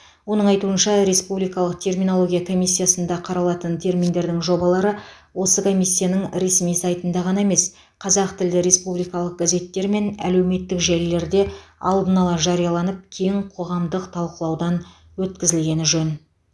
оның айтуынша республикалық терминология комиссиясында қаралатын терминдердің жобалары осы комиссияның ресми сайтында ғана емес қазақтілді республикалық газеттер мен әлеуметтік желілерде алдын ала жарияланып кең қоғамдық талқылаудан өткізілгені жөн